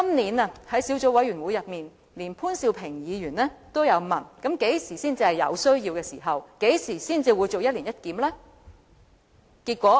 在今年的小組委員會會議中，潘兆平議員也問當局何時才是有需要進行一年一檢。